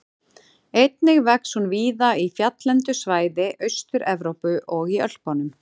Einnig vex hún víða í fjalllendu svæði Austur-Evrópu og í Ölpunum.